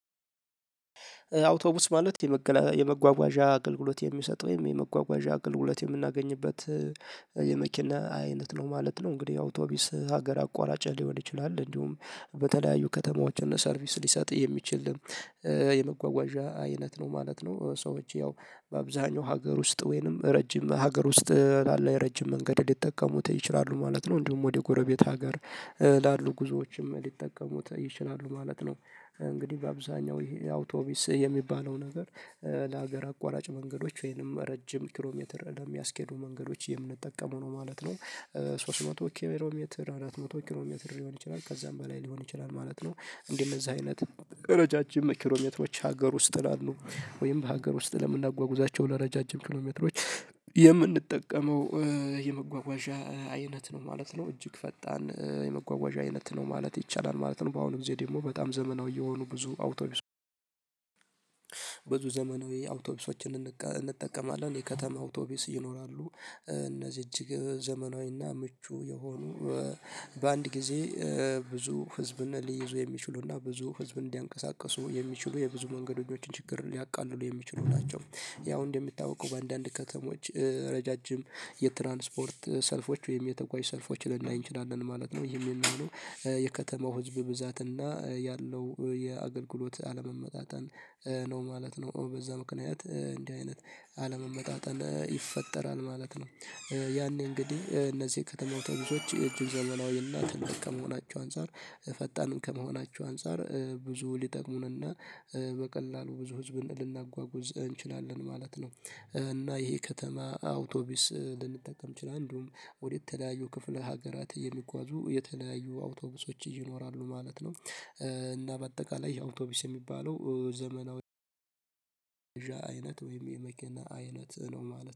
አውቶቡስ ማለት የመጓጓዣ አገልግሎት የሚሰጥ ወይም የመጓጓዣ አገልግሎት የምናገኝበት የመኪና አይነት ነው ማለት ነው። እንግዲህ አውቶቢስ ሀገር አቋራጭ ሊሆን ይችላል እንዲሁም በተለያዩ ከተማዎች እና ሰርቪስ ሊሰጥ የሚችል የመጓጓዣ አይነት ነው ማለት ነው። ሰዎች ያው በአብዛኛው ሀገር ውስጥ ወይንም ረጅም ሀገር ውስጥ ላለው የረጅም መንገድ ሊጠቀሙት ይችላሉ ማለት ነው። እንዲሁም ወደ ጎረቤት ሀገር ላሉ ጉዞዎችም ሊጠቀሙት ይችላሉ ማለት ነው። እንግዲህ በአብዛኛው ይሄ አውቶቢስ የሚባለው ነገር ለሀገር አቋራጭ መንገዶች ወይንም ረጅም ኪሎ ሜትር ለሚያስኬዱ መንገዶች የምንጠቀመው ነው ማለት ነው። ሶስት መቶ ኪሎ ሜትር፣ አራት መቶ ኪሎ ሜትር ሊሆን ይችላል ከዛም በላይ ሊሆን ይችላል ማለት ነው። እንዲህ እነዛ አይነት ረዣዥም ኪሎሜትሮች ሀገር ውስጥ ላሉ ወይም በሀገር ውስጥ ለምናጓጉዛቸው ለረዣዥም ኪሎሜትሮች የምንጠቀመው የመጓጓዣ አይነት ነው ማለት ነው። እጅግ ፈጣን የመጓጓዣ አይነት ነው ማለት ይቻላል ማለት ነው። በአሁኑ ጊዜ ደግሞ በጣም ዘመናዊ የሆኑ ብዙ አውቶቢስ ብዙ ዘመናዊ አውቶቢሶችን እንጠቀማለን። የከተማ አውቶቢስ ይኖራሉ። እነዚህ እጅግ ዘመናዊ እና ምቹ የሆኑ በአንድ ጊዜ ብዙ ህዝብን ሊይዙ የሚችሉና ብዙ ህዝብ እንዲያንቀሳቅሱ የሚችሉ የብዙ መንገዶችን ችግር ሊያቃልሉ የሚችሉ ናቸው። ያው እንደሚታወቀው በአንዳንድ ከተሞች ረዣዥም የትራንስፖርት ሰልፎች ወይም የተጓዥ ሰልፎች ልናይ እንችላለን ማለት ነው። ይሄ የሚሆነው የከተማው ህዝብ ብዛት እና ያለው የአገልግሎት አለመመጣጠን ነው ማለት ነው። በዛ ምክንያት እንዲህ አይነት አለመመጣጠን ይፈጠራል ማለት ነው። ያኔ እንግዲህ እነዚህ ከተማ አውተቢሶች እጅግ ዘመናዊ እና ትልቅ ከመሆናቸው አንፃር ፈጣንም ከመሆናቸው አንፃር ብዙ ሊጠቅሙን እና በቀላሉ ብዙ ህዝብን ልናጓጉዝ እንችላለን ማለት ነው። እና ይሄ ከተማ አውቶቢስ ልንጠቀም ይችል። እንዲሁም ወደተለያዩ ክፍለ ሀገራት የሚጓዙ የተለያዩ አውቶቢሶች ይኖራሉ ማለት ነው እና በአጠቃላይ አውቶቢስ የሚባለው ዘመናዊ አይነት ወይም የመኪና አይነት ነው ማለት ነው።